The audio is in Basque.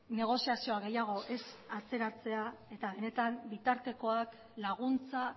negoziazioa gehiago ez atzeratzea eta benetan bitartekoak laguntza